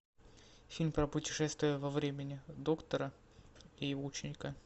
фильм про путешествия во времени доктора и его ученика